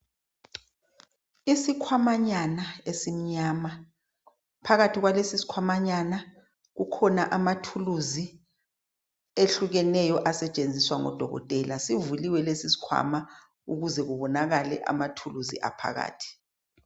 Isikhwamanyana esimnyama. Phakathi kwalesisikhamanyana kukhona amathuluzi ehlukeneyo asetshenziswa ngodokotela. Sivuliwe lesisikhwama ukuze kubonakale amathuluzi aphakathi.